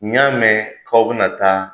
N y'a mɛn k'aw bɛna taa